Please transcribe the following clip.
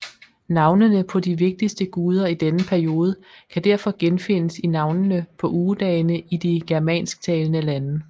Navnene på de vigtigste guder i denne periode kan derfor genfindes i navnene på ugedagene i de germansktalende lande